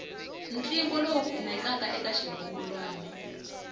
ntlimbo lowu kumekaka eka xirungulwana